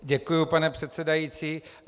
Děkuju, pane předsedající.